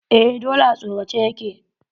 Eh dole a sorace ya ke.